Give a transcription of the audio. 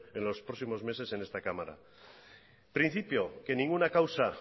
en los próximos meses en esta cámara principio que ninguna causa